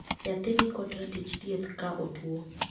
Nyathi ni kod ratich thieth ka otuo